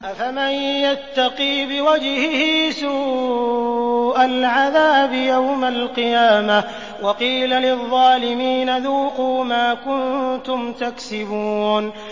أَفَمَن يَتَّقِي بِوَجْهِهِ سُوءَ الْعَذَابِ يَوْمَ الْقِيَامَةِ ۚ وَقِيلَ لِلظَّالِمِينَ ذُوقُوا مَا كُنتُمْ تَكْسِبُونَ